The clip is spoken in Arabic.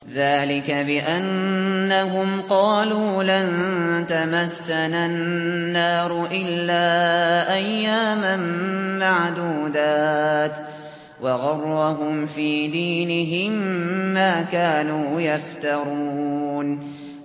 ذَٰلِكَ بِأَنَّهُمْ قَالُوا لَن تَمَسَّنَا النَّارُ إِلَّا أَيَّامًا مَّعْدُودَاتٍ ۖ وَغَرَّهُمْ فِي دِينِهِم مَّا كَانُوا يَفْتَرُونَ